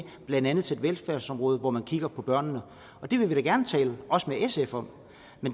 blandt andet et velfærdsområde hvor man kigger på børnene det vil vi da gerne tale også med sf om